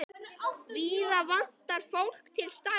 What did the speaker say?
Víða vantar fólk til starfa.